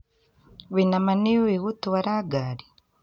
Wĩna mah nĩ uĩĩ gũtwara ngaari